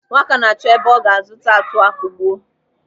Nwaka na-achọ ebe ọ ga a zụta atuọ akugbuo.